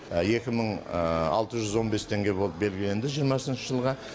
екі мың алты жүз он бес теңге болып белгіленді жиырмасыншы жылға